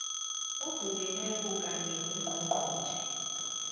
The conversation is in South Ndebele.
ovunyelweko kanye nongqongqotjhe